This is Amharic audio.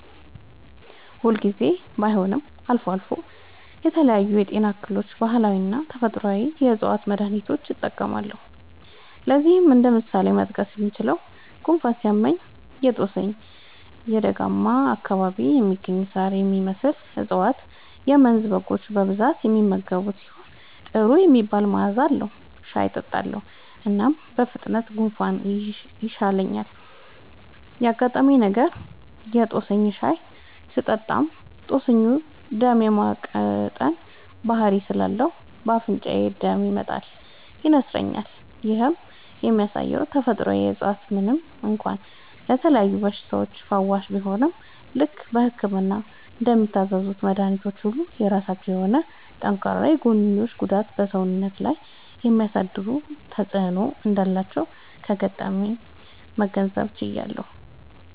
ሁል ጊዜ ባይሆንም አልፎ አልፎ ለተለያዩ የጤና እክሎች ባህላዊና ተፈጥአዊ የ ዕፅዋት መድሀኒቶችን እጠቀማለሁ። ለዚህም እንደ ምሳሌ መጥቀስ የምችለው፣ ጉንፋን ሲይዘኝ የ ጦስኝ (በደጋማ አካባቢ የሚገኝ ሳር የሚመስል እፀዋት - የመንዝ በጎች በብዛት የሚመገቡት ሲሆን ጥሩ የሚባል መዐዛ አለዉ) ሻይ እጠጣለሁ። እናም በፍጥነት ጉንፋኑ ይሻለኛል። ያጋጠመኝ ነገር:- የ ጦስኝ ሻይ ስጠቀም ጦስኙ ደም የ ማቅጠን ባህሪ ስላለው በ አፍንጫዬ ደም ይመጣል (ይነስረኛል)። ይህም የሚያሳየው ተፈጥሮአዊ እፀዋቶች ምንም እንኳ ለተለያዩ በሽታዎች ፈዋሽ ቢሆኑም፣ ልክ በህክምና እንደሚታዘዙልን መድኃኒቶች ሁሉ የራሳቸው የሆነ ጠንካራ የጎንዮሽ ጉዳትና በ ሰውነታችን ላይ የሚያሳድሩት ተጵዕኖ እንዳላቸው ከገጠመኜ መገንዘብ ችያለሁ።